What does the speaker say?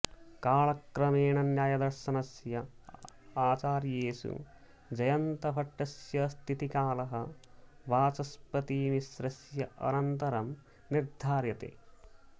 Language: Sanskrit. कालक्रमेण न्यायदर्शनस्य आचार्येषु जयन्तभट्टस्य स्थितिकालः वाचस्पतिमिश्रस्य अनन्तरं निर्धार्यते